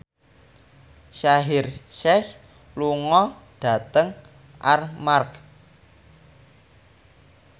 Shaheer Sheikh lunga dhateng Armargh